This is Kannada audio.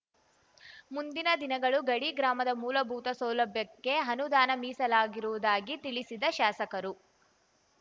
ಮುಂದಿನ ದಿನಗಳು ಗಡಿ ಗ್ರಾಮದ ಮೂಲಭೂತ ಸೌಲಭ್ಯಕ್ಕೆ ಅನುದಾನ ಮೀಸಲಾಗಿರುವುದಾಗಿ ತಿಳಿಸಿದ ಶಾಸಕರು